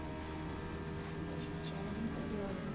Porque a gente era do interior, né?